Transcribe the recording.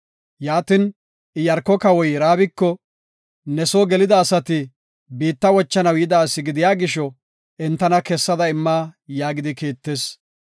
Yaatin, Iyaarko kawoy Raabiko, “Ne soo gelida asati biitta wochanaw yida asi gidiya gisho, entana kessada imma” yaagidi kiittis.